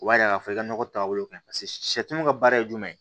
O b'a yira k'a fɔ i ka nɔgɔ taabolo ka ɲi paseke sɛw ka baara ye jumɛn ye